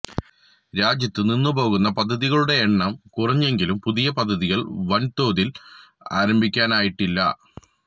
രാജ്യത്ത് നിന്നുപോകുന്ന പദ്ധതികളുടെ എണ്ണം കുറഞ്ഞെങ്കിലും പുതിയ പദ്ധതികള് വന്തോതില് ആരംഭിക്കാനായിട്ടില്ല